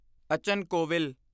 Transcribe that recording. ਅਚਨ ਕੋਵਿਲ